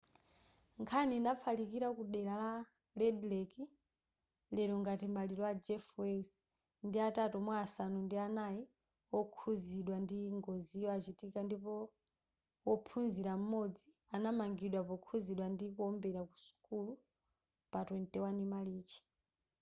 nkhani inafalikila ku dera la red lake lero ngati maliro a jeff weiss ndi atatu mwa asanu ndi anai okhuzidwa ndi ngoziyo achitika ndipo wophunzila m'modzi anamangidwa pokhuzidwa ndi kuombera ku sukulu pa 21 marichi